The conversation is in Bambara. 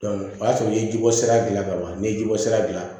o y'a sɔrɔ i ye ji bɔ sira gilan ka ban n'i ye ji bɔ sira gilan